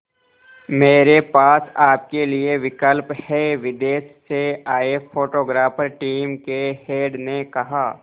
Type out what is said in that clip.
मेरे पास आपके लिए विकल्प है विदेश से आए फोटोग्राफर टीम के हेड ने कहा